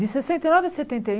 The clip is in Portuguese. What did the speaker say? De sessenta e nove a setenta e um